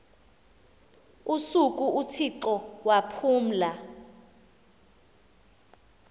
usuku uthixo waphumla